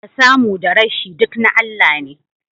Da samu da rashi, duk na Allah ne